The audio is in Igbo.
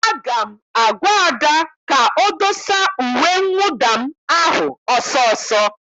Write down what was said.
Aga m agwa Ada ka o dosa uwe mwụda m ahụ ọsọ ọsọ!